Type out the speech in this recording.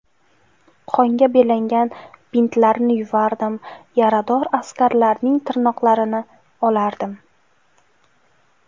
Qonga belangan bintlarni yuvardim, yarador askarlarning tirnoqlarini olardim.